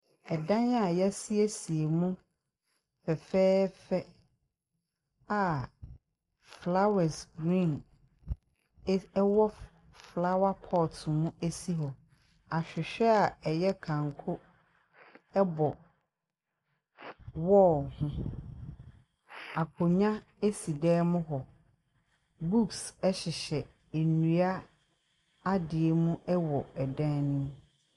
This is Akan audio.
Dan a yɛasiesie mu fɛfɛɛfɛ a flowers green es ɛwɔ flowerpot mu si hɔ. ahwehwɛ a ɛyɛ kanko bɔ wall ho, akonnwa si dan mu hɔ. books hyehyɛ nnua adeɛ mu wɔ dan ne mu.